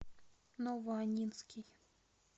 новоаннинский